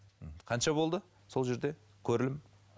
қанша болды сол жерде көрілім